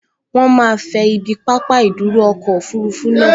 Wọ́n máa fẹ ibi pápá ìdúró ọkọ̀ òfurufú naa